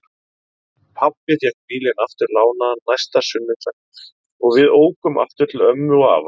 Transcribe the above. Pabbi fékk bílinn aftur lánaðan næsta sunnudag og við ókum aftur til ömmu og afa.